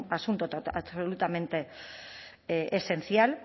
asunto absolutamente esencial